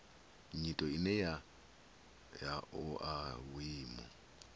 nyito ine ya oa vhuimo